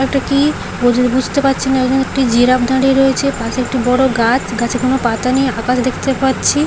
এটা কি-ই বুঝ বুঝতে পারছি না ওখানে একটি জিরাফ দাঁড়িয়ে রয়েছে পাশে একটি বড় গাছ গাছে কোন পাতা নেই আকাশ দেখতে পাচ্ছি।